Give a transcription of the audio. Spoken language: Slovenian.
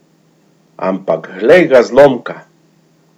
Ampak glej ga zlomka!